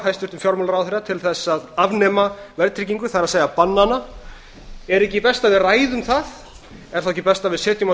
hæstvirtum fjármálaráðherra til að afnema verðtryggingu það er banna hana er ekki best að við ræðum það er þá ekki best að við setjum á